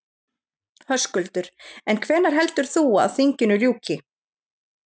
Höskuldur: En hvenær heldur þú að, að þinginu ljúki?